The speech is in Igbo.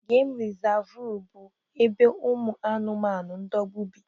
Geem resavu bụ ebe ụmụ anụmanụ ndogbu bi